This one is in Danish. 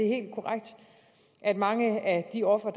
helt korrekt at mange af de ofre